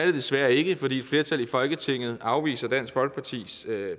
det desværre ikke fordi et flertal i folketinget afviser dansk folkepartis